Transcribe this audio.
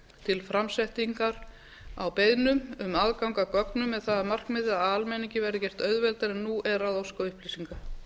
til framsetningar á beiðnum um aðgang að gögnum með það að markmiði að almenningi verði gert auðveldara en nú er að óska upplýsinga